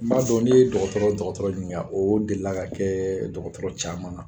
N b'a dɔn n'i ye dɔgɔtɔrɔ o dɔgɔtɔrɔ niniŋa oo delila ka kɛɛ dɔgɔtɔrɔ caman na.